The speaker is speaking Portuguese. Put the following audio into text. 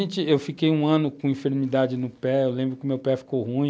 Então, eu fiquei um ano com enfermidade no pé, eu lembro que o meu pé ficou ruim,